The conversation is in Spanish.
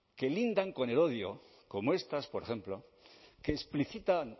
que lindan con el odio como estas por ejemplo que explicitan